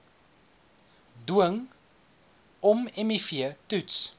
dwing ommiv toets